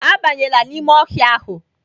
Abanyela n'ime ọhịa ahụ!